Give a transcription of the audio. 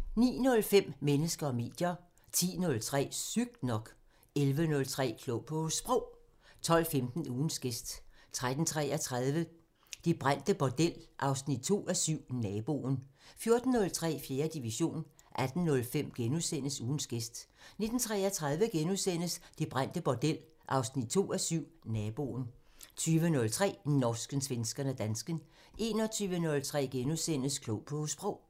09:05: Mennesker og medier 10:03: Sygt nok 11:03: Klog på Sprog 12:15: Ugens gæst 13:33: Det brændte bordel 2:7 – Naboen 14:03: 4. division 18:05: Ugens gæst * 19:33: Det brændte bordel 2:7 – Naboen * 20:03: Norsken, svensken og dansken 21:03: Klog på Sprog *